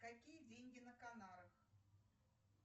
какие деньги на канарах